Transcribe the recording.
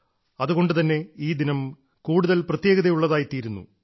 അതുകൊണ്ടുതന്നെ ഈ ദിനം കൂടുതൽ പ്രത്യേകതയുള്ളതായിത്തീരുന്നു